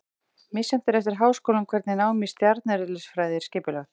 Misjafnt er eftir háskólum hvernig nám í stjarneðlisfræði er skipulagt.